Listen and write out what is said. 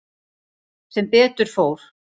Sem betur fór.